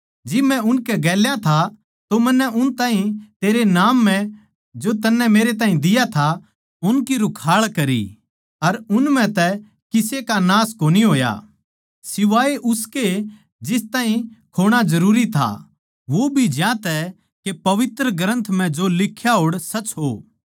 जिब मै उनकै गेल्या था तो मन्नै उन ताहीं तेरै नाम म्ह जो तन्नै मेरैताहीं दिया था उनकी रुखाळ करी अर उन म्ह तै किसे का नाश कोनी होया सिवाए उसके जिस ताहीं खोणा जरूरी था वो भी ज्यांतै के पवित्र ग्रन्थ म्ह जो लिख्या होड़ सच हो